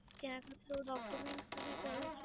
ત્યાં પણ ડો Document મને જરૂર છે